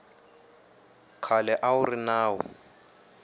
khale a wu ri nawu